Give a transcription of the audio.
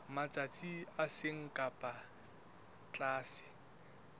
matsatsi a seng ka tlase